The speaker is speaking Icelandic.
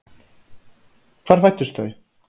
Hvar fæddust þau?